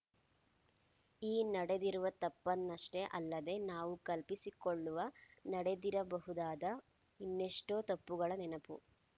ಈ ನಡೆದಿರುವ ತಪ್ಪನ್ನಷ್ಟೇ ಅಲ್ಲದೆ ನಾವು ಕಲ್ಪಿಸಿಕೊಳ್ಳುವ ನಡೆದಿರಬಹುದಾದ ಇನ್ನೆಷ್ಟೋ ತಪ್ಪುಗಳ ನೆನಪು